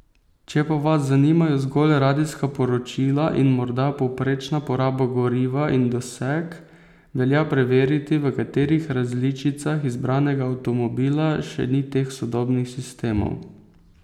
Če pa vas zanimajo zgolj radijska poročila in morda povprečna poraba goriva in doseg, velja preveriti, v katerih različicah izbranega avtomobila še ni teh sodobnih sistemov.